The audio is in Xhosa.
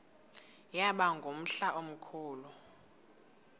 yaba ngumhla omkhulu